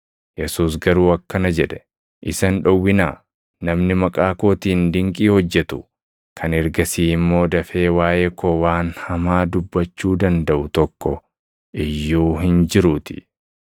Yesuus garuu akkana jedhe; “Isa hin dhowwinaa; namni maqaa kootiin dinqii hojjetu kan ergasii immoo dafee waaʼee koo waan hamaa dubbachuu dandaʼu tokko iyyuu hin jiruutii.